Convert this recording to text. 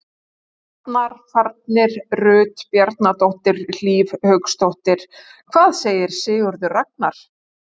Farnar: Farnir: Rut Bjarnadóttir, Hlíf Hauksdóttir Hvað segir Sigurður Ragnar?